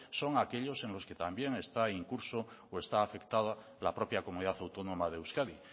son aquellos en los que también está incurso o está afectada la propia comunidad autónoma de euskadi